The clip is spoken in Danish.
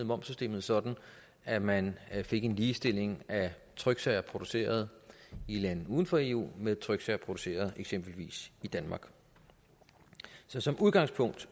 momssystemet sådan at man fik en ligestilling af tryksager produceret i lande uden for eu med tryksager produceret i eksempelvis danmark så som udgangspunkt